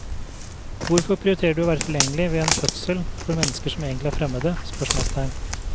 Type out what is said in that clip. Hvorfor prioriterer du å være tilgjengelig ved en fødsel for mennesker som egentlig er fremmede? spørsmålstegn